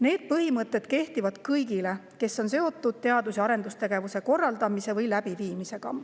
Need põhimõtted kehtivad kõigile, kes on seotud teadus‑ ja arendustegevuse korraldamise või läbiviimisega.